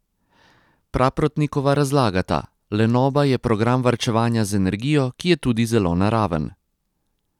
Praprotnikova razlagata: "Lenoba je program varčevanja z energijo, ki je tudi zelo naraven.